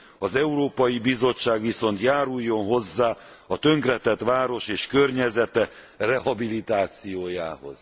Az Európai Bizottság viszont járuljon hozzá a tönkretett város és környezete rehabilitációjához.